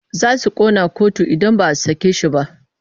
Za su ƙona kotu idan ba a sake shi ba.